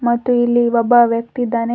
ಮತ್ತು ಇಲ್ಲಿ ಒಬ್ಬ ವ್ಯಕ್ತಿ ಇದ್ದಾನೆ.